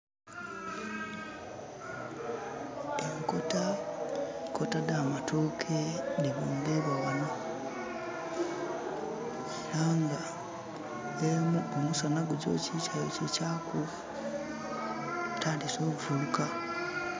Enkota, enkota dhamatoke dhibungibwa ghanho era nga endala omusanha gugyokikya yokikyaku etandise ovuluka.